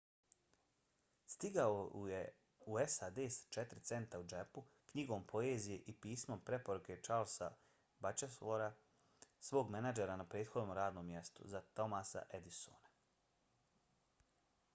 stigao je u sad s 4 centa u džepu knjigom poezije i pismom preporuke charlesa batchelora svog menadžera na prethodnom radnom mjestu za thomasa edisona